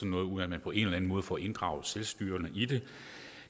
noget uden at man på en eller anden måde får inddraget selvstyrerne i det